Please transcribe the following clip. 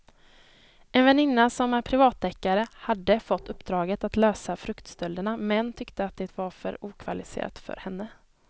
En väninna som är privatdeckare hade fått uppdraget att lösa fruktstölderna men tyckte att det var för okvalificerat för henne.